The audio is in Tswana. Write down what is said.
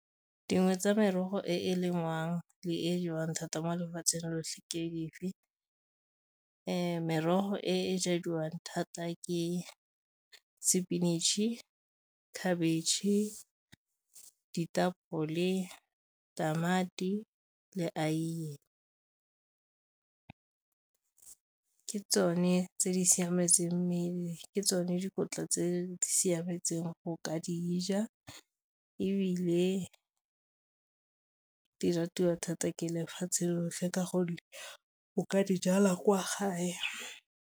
Dingwe tsa merogo e e lengwang le e jewang thata mo lefatsheng lotlhe ke dife? Merogo e jadiwang thata ke sepinatšhe, khabetšhe, ditapole, tamati le aiye. Ke tsone tse di siametseng mmele ke tsone dikotla tse di siametseng go ka dija, ebile di ratwa thata ke lefatshe lotlhe ka gonne o ka dijala kwa gae.